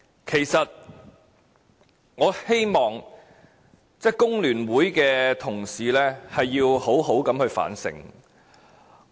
其實，我希望工聯會的同事好好地反省。